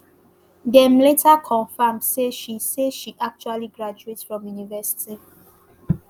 dem later confam say she say she actually graduate from university